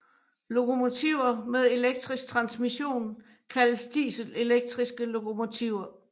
Lokomotiver med elektrisk transmission kaldes dieselelektriske lokomotiver